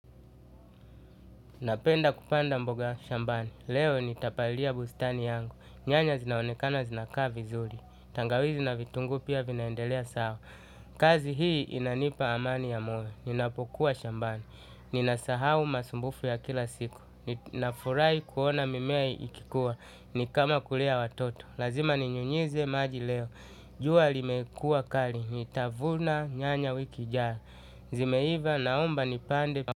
Napenda kupanda mboga shambani, leo nitapalia bustani yangu, nyanya zinaonekana zinakaa vizuri, tangawizi na vitungu pia vinaendelea sawa. Kazi hii inanipa amani ya moyo, ninapokuwa shambani, ninasahau masumbufu ya kila siku, na furai kuona mimea ikikuwa, nikama kulea watoto. Lazima ninyunyize maji leo, jua limekua kali, nitavuna nyanya wiki ijayo, zimeiva naomba nipande.